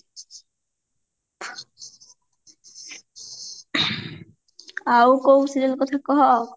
ଆଉ କଉ serial କଥା କହ